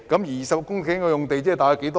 20公頃用地即是多大呢？